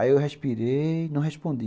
Aí eu respirei e não respondi.